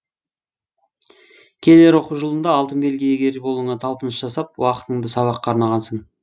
келер оқу жылында алтын белгі иегері болуыңа талпыныс жасап уақытыңды сабаққа арнағансың